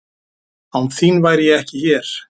Án þín væri ég ekki hér.